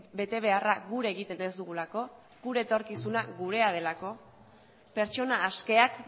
betebeharra gure egiten ez dugulako gure etorkizuna gurea delako pertsona askeak